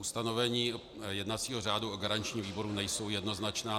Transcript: Ustanovení jednacího řádu o garančním výboru nejsou jednoznačná.